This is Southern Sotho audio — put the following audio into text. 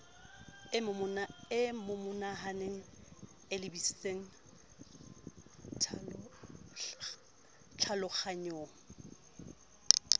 e momohaneng e lebisang tlhalohanyong